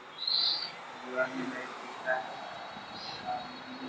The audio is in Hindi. दीवाल में लाइट दिख रहा है सामने--